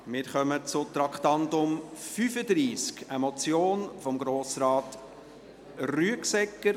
Wir kommen zu Traktandum 35, eine Motion von Grossrat Rüegsegger